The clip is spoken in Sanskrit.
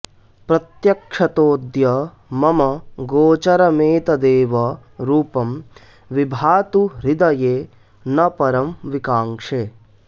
प्रत्यक्षतोऽद्य मम गोचरमेतदेव रूपं विभातु हृदये न परं विकाङ्क्षे